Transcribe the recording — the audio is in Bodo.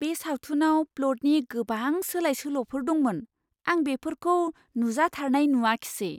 बे सावथुनाव प्लटनि गोबां सोलाय सोल'फोर दंमोन। आं बेफोरखौ नुजाथारनाय नुआखिसै!